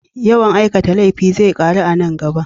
Yawan aikata laifi zai ƙaru a nan gaba.